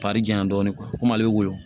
janyan dɔɔnin komi ale bɛ woyo